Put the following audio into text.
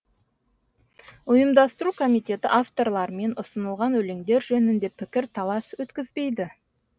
ұйымдастыру комитеті авторлармен ұсынылған өлеңдер жөнінде пікір талас өткізбейді